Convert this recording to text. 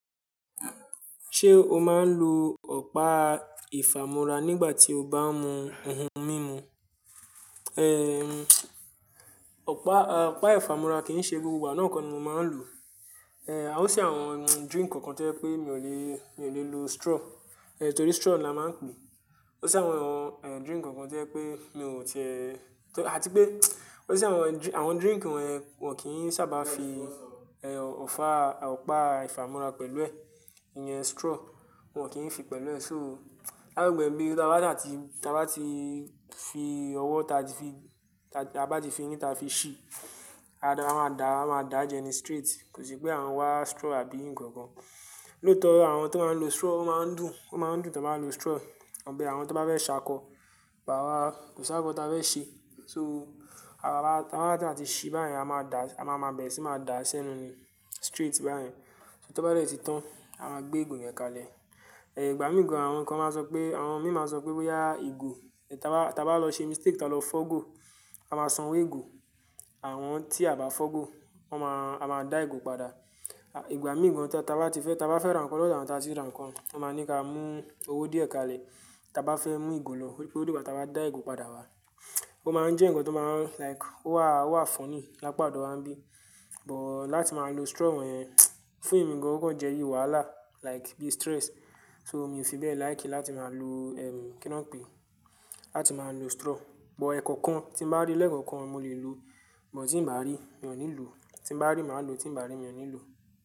Ṣé o máa ń lo ọ̀pá ìfàmúra nígbà tí o bá ń mu ohun mímu? Ọ̀pá, ọ̀pá ìfàmúra kì í ṣe gbogbo wa náà nìkan ni mo máa ń lò. Ó ṣe àwọn drink kankan tí ẹ pé mi ò lè, mi ò lè lo straw, torí straw ni a máa ń pè é. Ó ṣe àwọn, àwọn drink kankan tí ẹ pé mi ò tiẹ, àti pé ó ṣe àwọn drink wọ́n kì í sábà fi ọ̀pá ìfàmúra pẹ̀lú ẹ̀, iyen straw wọ́n kì í fi pẹ̀lú ẹ̀, so lábẹ́ ẹ̀bi tí a bá ti fi ọwọ́ ta tí fi, ta bá ti fi yín ta fi ṣí, a máa da, a máa dá jẹ nì straight, kò sí pé àwọn wá straw àbí ìǹkan kankan. Lóòótọ́ àwọn tó máa ń lo straw ó máa ń dùn, ó máa ń dùn tí wọ́n bá lo straw. Ọ̀bẹ àwọn tó bá fẹ́ ṣákọ, bàwá kò sáábà kọ tí a bá fẹ́ ṣe, so a máa bá, tí a bá ti ṣe báyìí a máa dà, a máa bẹ̀rẹ̀ sí máa dà sẹ́nu ni straight báyìí. Só tó bá rẹ̀ tí tán, a máa gbé ìgò yẹn kalẹ̀. Ìgbà míì gan, àwọn kan máa sọ pé, àwọn míì máa sọ pé, "ya ìgò". Tí a bá, tí a bá lọ ṣe mistake tí a lọ fọ́ go, a máa sanwó ìgò. Àwọn tí a bá fọ́ go, wọ́n máa, a máa dà ìgò padà. Ìgbà míì gan tí a bá ti fẹ́, tí a bá fẹ́ rán kọ́, lọ̀tọ̀ àwọn tí a ti rà nǹkan, wọ́n máa ní ka mú owó díẹ̀ kalẹ̀ tí a bá fẹ́ mú ìgò lọ, torí ìgbà tí a bá dà ìgò padà wá. Ó máa ń jẹ́ ǹkan tó máa ń like ó wà, ó wà fúnny lápadà wọ́n bí. But láti máa lo straw wọ́n, fún èmi gan kọ̀ jẹ́ iyì wàhálà like bí stress. So mi ò fi bẹ́ẹ̀ láì kí láti máa lo kí ni wọ́n pè, láti máa lo straw. But ẹ̀ẹ̀kọ̀kan tí mo bá rí lẹ́ẹ̀kọ̀kan mo lè lo, bọ́ tí ì bá rí mi ò ní lò, tí mo bá rí màá lò, tí ì bá rí mi ò ní lò.